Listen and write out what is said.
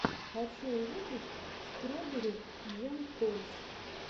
хочу увидеть строберри джэм тойс